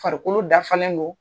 Farikolo dafalen don.